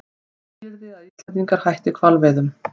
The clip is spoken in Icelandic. Skilyrði að Íslendingar hætti hvalveiðum